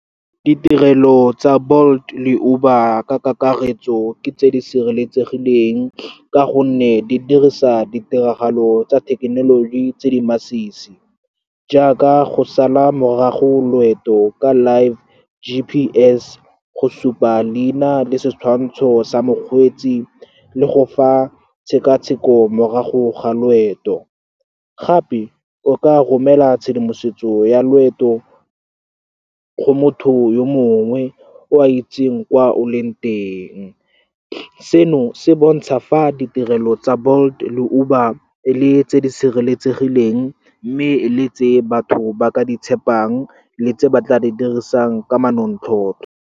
Ditirelo tsa Bolt le Uber ka kakaretso ke tse di sireletsegileng, ka gonne di dirisa ditiragalo tsa thekenoloji tse di masisi, jaaka go sala morago loeto ka live G_P_S, go supa leina le setshwantsho sa mokgweetsi, le go fa tshekatsheko morago ga loeto. Gape, o ka romela tshedimosetso ya loeto go motho yo mongwe o a itseng kwa o leng teng. Seno se bontsha fa ditirelo tsa Bolt le Uber e le tse di sireletsegileng, mme le tse batho ba ka di tshepang le tse ba tla di dirisang ka manontlhotlho.